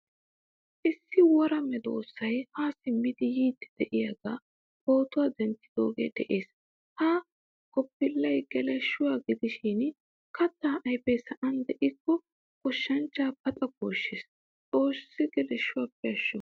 Issi woraa medosay haa simmidi yiidi deiyaga pootuwaa denttidoge de'ees. Ha goppilay geleeshshuwaa gidishin katta ayfe sa'an de'ikko goshshanchcha paxa gooshshees. Xoossi geleeshshuwaappe ashsho.